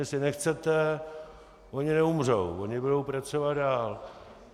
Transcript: Jestli nechcete, oni neumřou, oni budou pracovat dál.